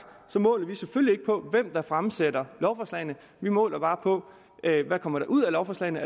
måler vi selvfølgelig ikke på hvem der fremsætter lovforslagene vi måler bare på hvad der kommer ud af lovforslagene